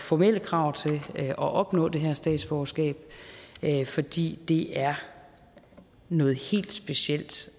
formelle krav til at opnå det her statsborgerskab fordi det er noget helt specielt